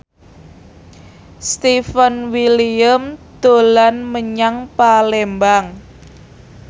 Stefan William dolan menyang Palembang